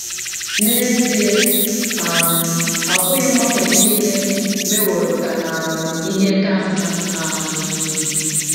N’ezie, um ọ bụghị mgbanwe nile meworo ka um ihe ka mma um.